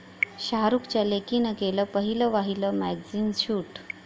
शाहरुखच्या लेकीनं केलं पहिलंवहिलं मॅगझिन शूट!